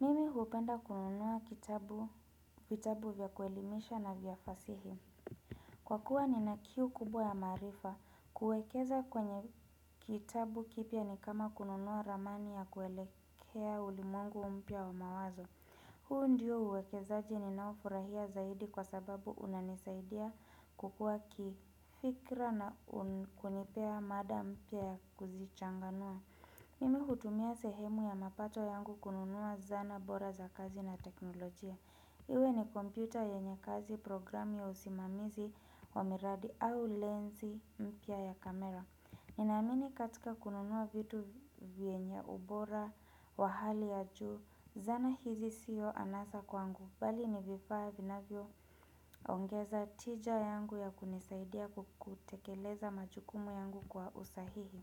Mimi hupenda kununua vitabu vyakuelimisha na vyafasihi. Kwa kuwa ni nakiu kubwa ya maarifa, kuekeza kwenye kitabu kipya ni kama kununua ramani ya kuelekea ulimwengu mpya wa mawazo. Huu ndiyo uwekezaji ni naofurahia zaidi kwa sababu unanisaidia kukua kifikra na kunipea mada mpya ya kuzichanganua. Mimi hutumia sehemu ya mapato yangu kununua zana bora za kazi na teknolojia Iwe ni kompyuta yenye kazi programu ya usimamizi wa miradi au lensi mpya ya kamera Ninamini katika kununua vitu vyenye ubora wa hali ya juu zana hizi siyo anasa kwangu bali ni vifaa vinavyo ongeza tija yangu ya kunisaidia kutekeleza machukumu yangu kwa usahihi